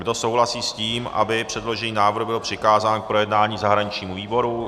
Kdo souhlasí s tím, aby předložený návrh byl přikázán k projednání zahraničnímu výboru?